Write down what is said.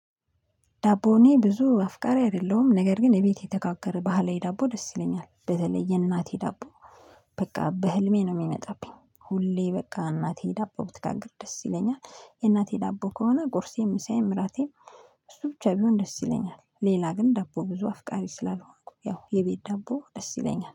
ዳቦኔ ብዙ አፍቃሪ አይደለሁም ነገር ግን እቤቴ የተጋገረ ባህላዊ ዳቦ ደስ ይለኛል በተለይ የእናቴ ዳቦ። በቃ በህልሜ ነው የሚመጣብኝ ሁሌ በቃ እናቴ ዳቦ ብትጋግር ደስ ይለኛል። የእናቴ ዳቦ ከሆነ ቁርሴም ምሳዬም እራቴም። እሱ ብቻ ቢሆን ደስ ይለኛል። ሌላ ግን ዳቦ ብዙ አፍቃሪ ስላልሆንኩ ያው የቤት ዳቦ ደስ ይለኛል